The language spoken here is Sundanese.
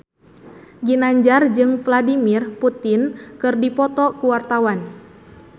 Ginanjar jeung Vladimir Putin keur dipoto ku wartawan